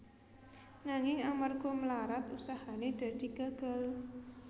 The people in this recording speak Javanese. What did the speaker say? Nanging amarga mlarat usahane dadi gagal